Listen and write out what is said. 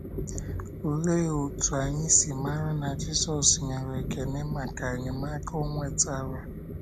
Olee otú anyị si mara na Jizọs nyere ekele maka enyemaka o nwetara?